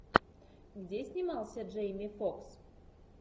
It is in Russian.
где снимался джейми фокс